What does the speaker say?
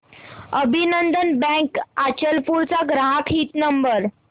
अभिनंदन बँक अचलपूर चा ग्राहक हित नंबर